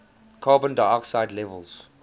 carbon dioxide levels